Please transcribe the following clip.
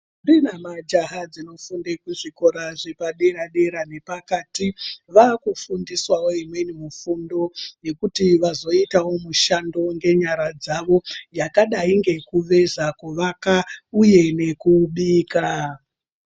...mbi namajaha dzinofunde kuzvikora zvepadera-dera nepakati vaakufundiswawo imweni mifundo yekuti vazoitawo mishando ngenyara dzavo. Yakadai ngekuveza, kuvaka uye nekubika.